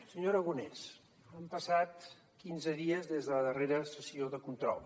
senyor aragonès han passat quinze dies des de la darrera sessió de control